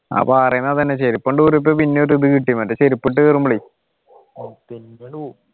അപ്പൊ അറിയുന്നതെന്നെ ചെരിപ്പ് പിന്നെ ഒരിത് കിട്ടി മറ്റേ ചെരിപ്പിട്ടു കേറുമ്പോളേ